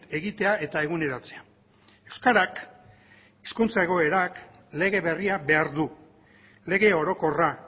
egitea eta eguneratzea euskarak hizkuntza egoerak lege berria behar du lege orokorra